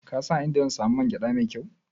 Ka san a inda zan man gyaɗa mai kyau?